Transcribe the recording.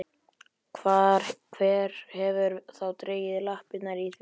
Hver hefur þá dregið lappirnar í því?